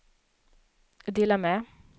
dela med